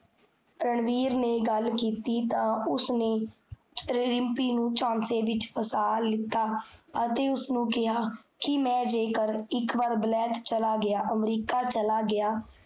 ਰਣਵੀਰ ਨੇ ਗਲ ਕੀਤੀ ਤਾਂ, ਉਸਨੇ ਰਿਮ੍ਪੀ ਨੂ ਚਾਂਸੇ ਵਿਚ ਫਸਾ ਲਿੱਤਾ ਅਤੇ ਉਸਨੁ ਕੇਹਾ, ਕੀ ਮੈਂ ਜੇਕਰ ਇਕਵਾਰ ਵਲੈਤ ਚਲਾ ਗਿਆ, ਅਮਰੀਕਾ ਚਲਾ ਗਿਆ